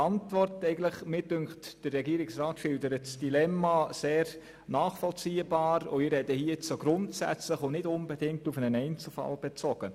Mir scheint, der Regierungsrat schildert das Dilemma sehr nachvollziehbar, und ich spreche hier nun auch grundsätzlich und nicht unbedingt auf einen Einzelfall bezogen.